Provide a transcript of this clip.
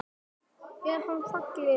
Til dæmis.